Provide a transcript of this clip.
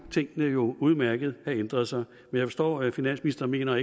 tingene udmærket have ændret sig jeg forstår at finansministeren mener